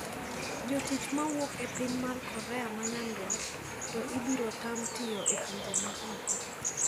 Jotich mawuok e piny mar Korea ma nyaduat to ibirotam tiyo e pinje ma oko.